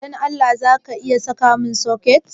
Dan Allah zaka na iya sayamun soket?